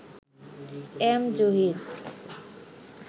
M Zahir